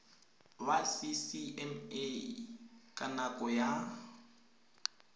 wa ccma ka nako ya